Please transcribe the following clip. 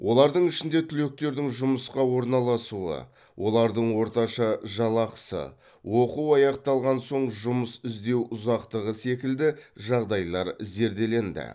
олардың ішінде түлектердің жұмысқа орналасуы олардың орташа жалақысы оқу аяқталған соң жұмыс іздеу ұзақтығы секілді жағдайлар зерделенді